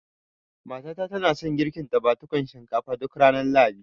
Mata ta na son girkin dafadukan shinkafa duk ranar Lahadi